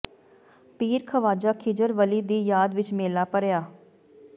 ਪੀਰ ਖਵਾਜਾ ਖਿਜਰ ਵਲੀ ਦੀ ਯਾਦ ਵਿਚ ਮੇਲਾ ਭਰਿਆ